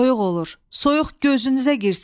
Soyuq olur, soyuq gözünüzə girsin.